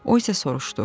O isə soruşdu: